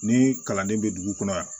Ni kalanden bɛ dugu kɔnɔ yan